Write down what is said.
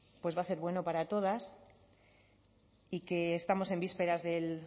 pues va a ser bueno para todas y que estamos en vísperas del